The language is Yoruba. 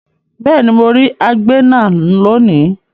Beeni mo ri agbena loni